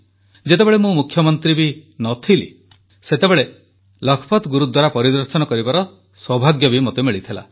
ଯେତେବେଳେ ମୁଁ ମୁଖ୍ୟମନ୍ତ୍ରୀ ବି ନ ଥିଲି ସେତେବେଳେ ମଧ୍ୟ ଲଖପତ ଗୁରୁଦ୍ୱାରା ପରିଦର୍ଶନ କରିବାର ସୌଭାଗ୍ୟ ମୋତେ ମିଳିଥିଲା